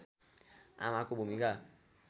आमाको भूमिका